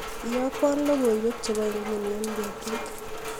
iyokwon loyoiwek chebo imguni en betut